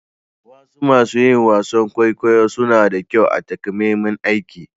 Wasu masun yin wasan kwaikwayo suna da kyau a'takamaiman aiki.